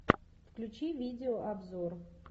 включи видеообзор